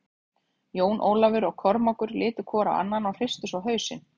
Jón Ólafur og Kormákur litu hvor á annan og hristu svo hausinn.